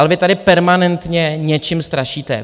Ale vy tady permanentně něčím strašíte.